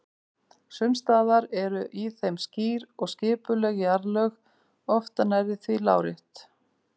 Sums staðar eru í þeim skýr og skipuleg jarðlög, oft nærri því lárétt.